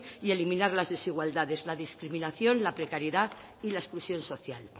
y eliminar las desigualdades la discriminación la precariedad y la exclusión social